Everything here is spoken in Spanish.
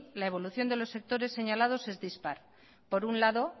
la evolución de los sectores señalados es dispar por un lado